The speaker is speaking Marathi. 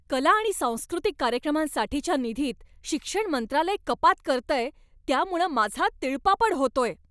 कला आणि सांस्कृतिक कार्यक्रमांसाठीच्या निधीत शिक्षण मंत्रालय कपात करतंय त्यामुळं माझा तिळपापड होतोय.